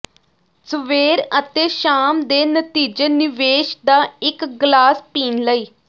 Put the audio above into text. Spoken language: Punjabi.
ਸਵੇਰ ਅਤੇ ਸ਼ਾਮ ਦੇ ਨਤੀਜੇ ਨਿਵੇਸ਼ ਦਾ ਇੱਕ ਗਲਾਸ ਪੀਣ ਲਈ